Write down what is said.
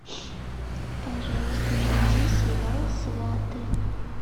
пожалуйста найди сериал сваты